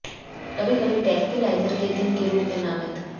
कभी कभी ट्रैंक्विलाइज़र के दिन के रूप में नामित